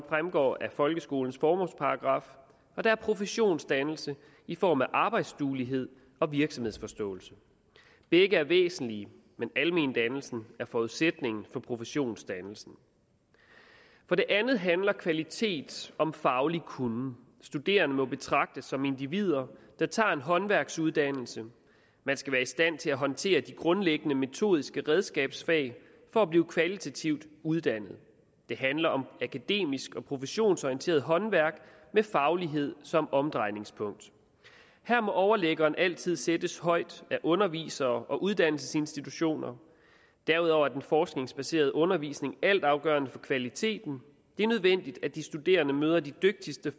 fremgår af folkeskolens formålsparagraf og der er professionsdannelse i form af arbejdsduelighed og virksomhedsforståelse begge er væsentlige men almendannelsen er forudsætningen for professionsdannelsen for det andet handler kvalitet om faglig kunnen studerende må betragtes som individer der tager en håndværksuddannelse man skal være i stand til at håndtere de grundlæggende metodiske redskabsfag for at blive kvalitativt uddannet det handler om akademisk og professionsorienteret håndværk med faglighed som omdrejningspunkt her må overliggeren altid sættes højt af undervisere og uddannelsesinstitutioner derudover er den forskningsbaserede undervisning altafgørende for kvaliteten det er nødvendigt at de studerende møder de dygtigste